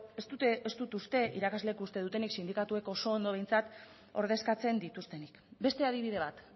ez dut uste irakasleek uste dutenik sindikatuek oso ondo behintzat ordezkatzen dituztenik beste adibide bat